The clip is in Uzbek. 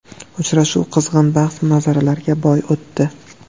Uchrashuv qizg‘in bahs-munozaralarga boy o‘tdi.